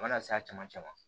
A mana se a caman caman